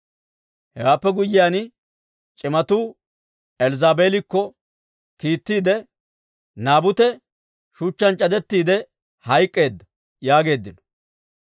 Hewaappe guyyiyaan c'imatuu Elzzaabeelikko kiittiide, «Naabute shuchchaan c'adettiide hayk'k'eedda» yaageeddino.